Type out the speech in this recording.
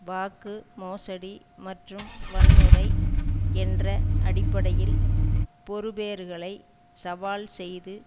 வாக்கு மோசடி மற்றும் வன்முறை என்ற அடிப்படையில் பெறுபேறுகளை சவால் செய்து